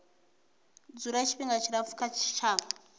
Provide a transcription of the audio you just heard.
dzula tshifhinga tshilapfu kha tshitshavha